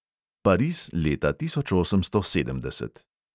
Pariz leta tisoč osemsto sedemdeset.